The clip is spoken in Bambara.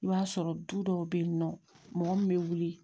I b'a sɔrɔ du dɔw bɛ yen nɔ mɔgɔ min bɛ wuli